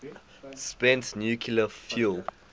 spent nuclear fuel